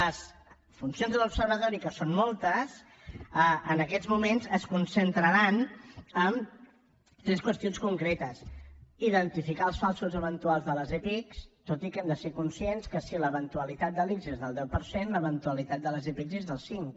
les funcions de l’observatori que en són moltes en aquests moments es concentraran en tres qüestions concretes identificar els falsos eventuals de les epic tot i que hem de ser conscients que si l’eventualitat de l’ics és del deu per cent l’eventualitat de les epic és del cinc